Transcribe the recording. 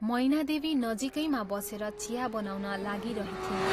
मैनादेवी नजीकैमा बसेर चिया बनाउन लागिरहिथिन्।